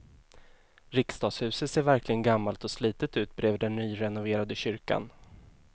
Riksdagshuset ser verkligen gammalt och slitet ut bredvid den nyrenoverade kyrkan.